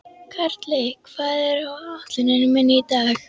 Karli, hvað er á áætluninni minni í dag?